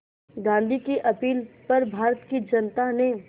गांधी की अपील पर भारत की जनता ने